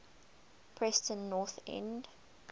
preston north end